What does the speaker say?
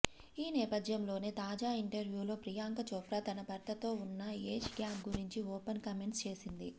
ఈ నేపథ్యంలోనే తాజా ఇంటర్వ్యూలో ప్రియాంక చోప్రా తన భర్తతో ఉన్న ఏజ్ గ్యాప్ గురించి ఓపెన్ కామెంట్స్ చేసింది